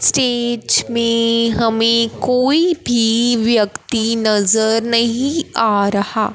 stage में हमें कोई भी व्यक्ति नजर नहीं आ रहा--